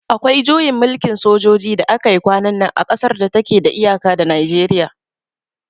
Akwai juyin mulkin sojoji da aka yi kwanan nan a kasar da ta ke da iyaka da Najeriya